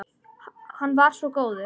Hann var svo góður.